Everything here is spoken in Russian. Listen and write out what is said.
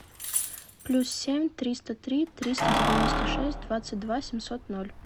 плюс семь триста три триста девяносто шесть двадцать два семьсот ноль